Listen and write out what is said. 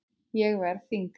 Ég verð þyngri.